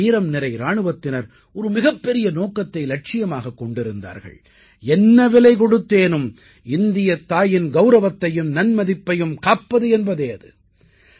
நமது வீரம்நிறை இராணுவத்தினர் ஒரு மிகப்பெரிய நோக்கத்தை இலட்சியமாகக் கொண்டிருந்தார்கள் என்ன விலை கொடுத்தேனும் இந்தியத் தாயின் கௌரவத்தையும் நன்மதிப்பையும் காப்பது என்பதே அது